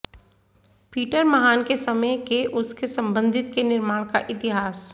Peter महान के समय के उसके संबंधित के निर्माण का इतिहास